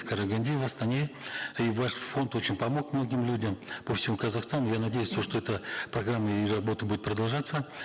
в караганде и в астане и ваш фонд очень помог многим людям по всему казахстану я надеюсь то что эта программа и работа будет продолжаться